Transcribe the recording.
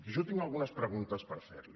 i jo tinc algunes preguntes per fer li